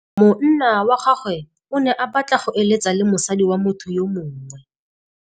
Monna wa gagwe o ne a batla go êlêtsa le mosadi wa motho yo mongwe.